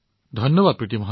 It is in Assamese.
ধন্যবাদ প্ৰীতি জী